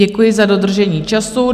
Děkuji za dodržení času.